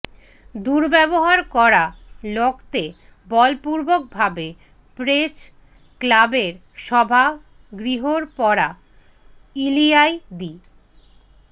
দূৰব্যৱহাৰ কৰা লগতে বলপূৰ্বক ভাবে প্ৰেছ ক্লাৱৰ সভা গৃহৰ পৰা উলিয়াই দি